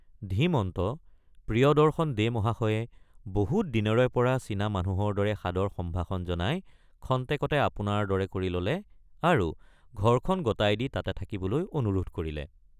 ধীমন্ত প্ৰিয়দৰ্শন দে মহাশয়ে বহুত দিনৰেপৰা চিনা মানুহৰ দৰে সাদৰসম্ভাষণ জনাই ক্ষন্তেকতে আপোনাৰ দৰে কৰি ললে আৰু ঘৰখন গটাই দি তাতে থাকিবলৈ অনুৰোধ কৰিলে।